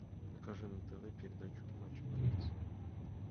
покажи на тв передачу матч боец